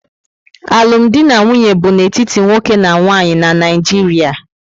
Alụm di na nwunye bu n'etiti nwoke na nwanyị na Naijiria